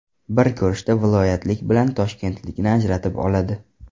Bir ko‘rishda viloyatlik bilan toshkentlikni ajratib oladi.